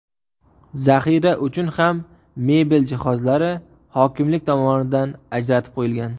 Zaxira uchun ham mebel jihozlari hokimlik tomonidan ajratib qo‘yilgan.